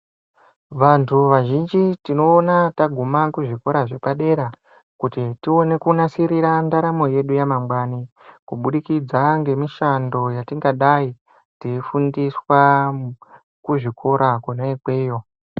Vantu vazhinji tinoona taguma kuzvikora zvepadera kuti tione kunasirira ndaramo yedu yamangwanai kubudikidza ngemishando yatingadai tichifundiswa Kuzvikora kona ikweyo.